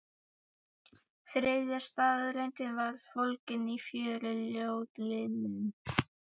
Þriðja staðreyndin var fólgin í fjórum ljóðlínum